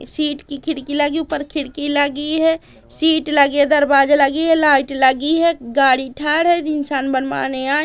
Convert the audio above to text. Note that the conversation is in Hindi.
इस सीट की खिड़की लगी हुई ऊपर खिड़की लगी है सीट लगी है दरवाजा लगी है लाइट लगी है गाड़ी ढांड है तीन इंसान बनवाने आ--